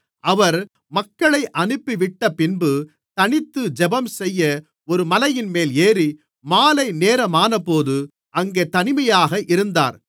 அவர் மக்களை அனுப்பிவிட்டப்பின்பு தனித்து ஜெபம்செய்ய ஒரு மலையின்மேல் ஏறி மாலைநேரமானபோது அங்கே தனிமையாக இருந்தார்